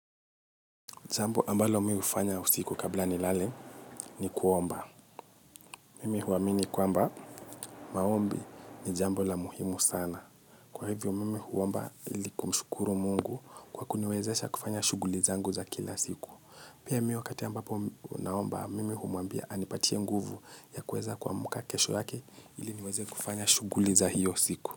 Jambo ambalo mimi hufanya usiku kabla nilale ni kuomba. Mimi huamini kwamba, maombi ni jambo la muhimu sana. Kwa hivyo, mimi huomba ili kumshukuru mungu kwa kuniwezesha kufanya shughuli zangu za kila siku. Pia mimi wakati ambapo naomba, mimi humwambia anipatie nguvu ya kuweza kuamka kesho yake, ili niweze kufanya shughuli za hio siku.